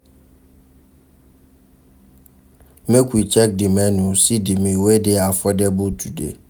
Make we check di menu, see di meal wey dey affordable today.